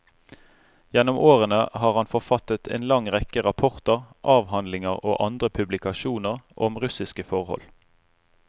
Gjennom årene har han forfattet en lang rekke rapporter, avhandlinger og andre publikasjoner om russiske forhold.